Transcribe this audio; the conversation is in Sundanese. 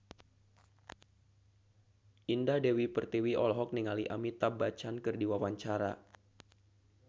Indah Dewi Pertiwi olohok ningali Amitabh Bachchan keur diwawancara